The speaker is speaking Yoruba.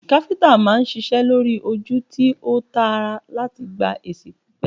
Káfíntà máa ń ṣiṣẹ lori oju ti o taara lati gba esi pipe